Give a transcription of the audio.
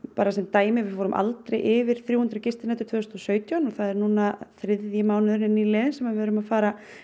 bara sem dæmi þá fórum við aldrei yfir þrjú hundruð gistinætur tvö þúsund og sautján og það er núna þriðji mánuðurinn liðinn þar sem við erum að fara